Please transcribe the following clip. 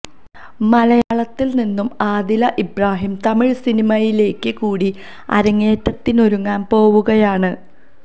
മലയാളത്തില് നിന്നും ആദില് ഇബ്രാഹിം തമിഴ് സിനിമയിലേക്ക് കൂടി അരങ്ങേറ്റത്തിനൊരുങ്ങാന് പോവുകയാണ്